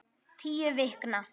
Tíu vikna